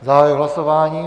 Zahajuji hlasování.